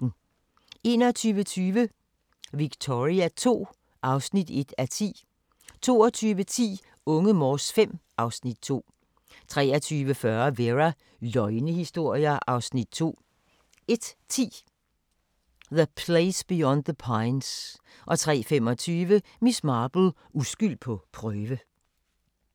21:20: Victoria II (1:10) 22:10: Unge Morse V (Afs. 2) 23:40: Vera: Løgnehistorier (Afs. 2) 01:10: The Place Beyond the Pines 03:25: Miss Marple: Uskyld på prøve